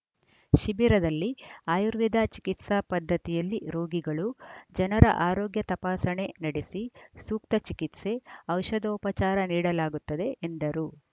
ಶಿಬಿರದಲ್ಲಿ ಆಯುರ್ವೇದ ಚಿಕಿತ್ಸಾ ಪದ್ಧತಿಯಲ್ಲಿ ರೋಗಿಗಳು ಜನರ ಆರೋಗ್ಯ ತಪಾಸಣೆ ನಡೆಸಿ ಸೂಕ್ತ ಚಿಕಿತ್ಸೆ ಔಷಧೋಪಚಾರ ನೀಡಲಾಗುತ್ತದೆ ಎಂದರು